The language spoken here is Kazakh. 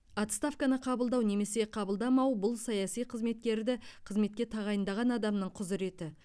отставканы қабылдау немесе қабылдамау бұл саяси қызметкерді қызметке тағайындаған адамның құзыреті